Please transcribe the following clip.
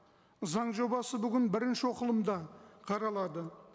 заң жобасы бүгін бірінші оқылымда қаралады